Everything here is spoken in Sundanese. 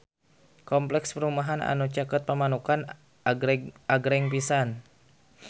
Kompleks perumahan anu caket Pamanukan agreng pisan